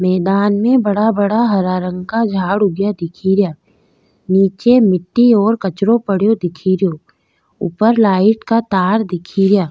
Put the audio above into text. मैदान में बड़ा बड़ा हरा रंग का झाड़ उगिया दिखेरा निचे मिटटी और कचरो पड्यो दिखेरो ऊपर लाइट का तार दिखे रिया।